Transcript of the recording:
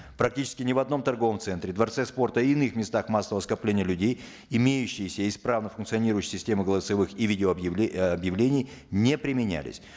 практически ни в одном торговом центре дворце спорта и иных местах массового скопления людей имеющиеся исправно функционирующие системы голосовых или видео э объявлений не применялись